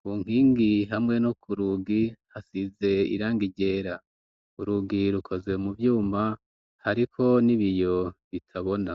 ku nkingi hamwe no ku rugi hasize iranga iryera urugi rukozwe mu vyuma hariko ni biyo bitabona.